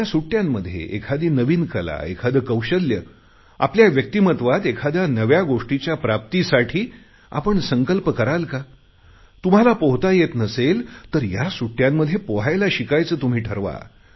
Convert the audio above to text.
या सुट्टयांमध्ये एखादी नवी कला एखाद्ये कौशल्य आपल्या व्यक्तिमत्वात एखाद्या नव्या गोष्टीच्या प्राप्तीसाठी आपण संकल्प कराल का तुम्हाला पोहता येत नसेल तर या सुट्टयांमध्ये पोहायला शिकायचे तुम्ही ठरवा